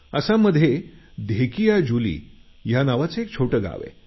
आसाममध्ये धेकीयाजुली या नावाचं एक छोटं गाव आहे